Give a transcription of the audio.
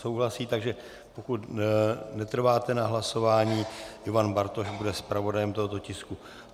Souhlasí, takže pokud netrváte na hlasování, Ivan Bartoš bude zpravodajem tohoto tisku.